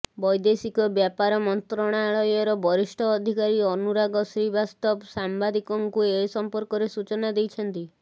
ବୈଦେଶିକ ବ୍ୟାପାର ମନ୍ତ୍ରଣାଳୟର ବରିଷ୍ଠ ଅଧିକାରୀ ଅନୁରାଗ ଶ୍ରୀବାସ୍ତବ ସାମ୍ବାଦିକଙ୍କୁ ଏ ସମ୍ପର୍କରେ ସୂଚନା ଦେଇଛନ୍ତି